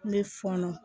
N bɛ fɔnɔ